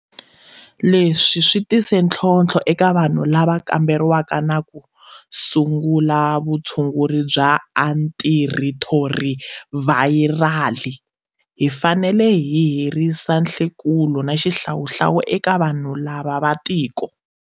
Leswi swi tise ntlhontlho eka vanhu lava kamberiwaka na ku sungula vutshunguri bya antirhithirovhayirali. Hi fanele hi herisa nhlekulo na xihlawuhlawu eka vanhu lava va tiko.